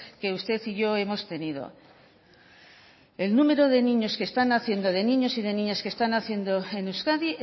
que usted y yo hemos tenido el número de niños que están naciendo de niños y de niñas que están naciendo en euskadi